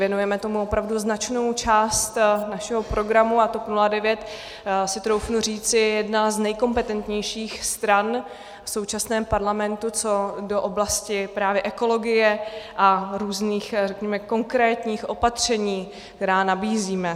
Věnujeme tomu opravdu značnou část našeho programu a TOP 09, troufnu si říci, je jedna z nejkompetentnějších stran v současném parlamentu co do oblasti právě ekologie a různých, řekněme konkrétních opatření, která nabízíme.